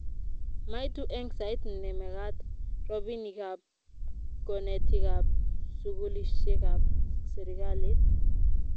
maitu eng' sait ne mekat robinikab konetikab sukulisiekab serikalit